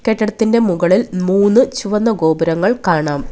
കെട്ടിടത്തിൻ്റെ മുകളിൽ മൂന്ന് ചുവന്ന ഗോപുരങ്ങൾ കാണാം.